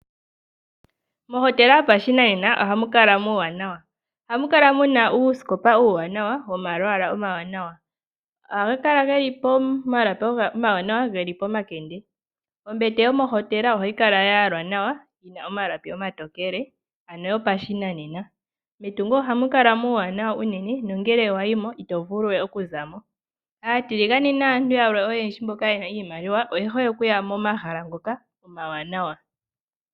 Mohotela yo pashinanena ohamu kala muuwanawa, ohamu kala muna uusikopa uuwanawa woma lwaala omawanawa. Ohaga kala geli po malapi omawanawa geli po makende. Ombete yo mohotela ohayi kala ya yalwa nawa yina omalapi omatokele, ano yo pashinanena. Metungo ohamu kala muuwanawa unene no ngele wa yimo ito vulu we oku zamo. Aatiligane naantu yalwe oyendji mboka yena iimaliwa oye hole okuya mo mahala ngoka omawanawa.